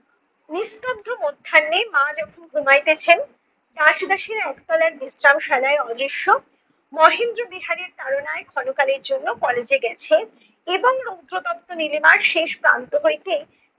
নিস্তব্ধ মধ্যাহ্নে মা যখন ঘুমাইতেছেন দাস-দাসীরা একতলার বিশ্রাম শালায় অদৃশ্য মহেন্দ্র বিহারীর তাড়নায় ক্ষণকালের জন্য college এ গেছে এবং রৌদ্র তপ্ত নীলিমার শেষ প্রান্ত হইতে